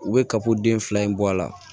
U bɛ kapoden fila in bɔ a la